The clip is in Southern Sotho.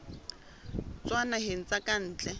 tswa dinaheng tsa ka ntle